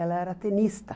Ela era tenista.